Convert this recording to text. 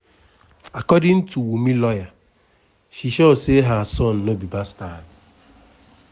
according to wunmi lawyer she sure say her son no be bastard.